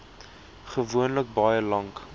gewoonlik baie lank